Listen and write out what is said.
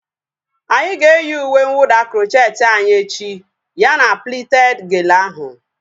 Anyị ga-eyi uwe nwụda krocheeti anyị echi ya na plited gele ahu